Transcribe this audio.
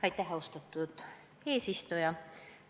Aitäh, austatud eesistuja!